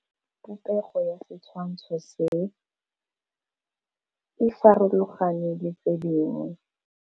Popêgo ya setshwantshô se, e farologane le tse dingwe.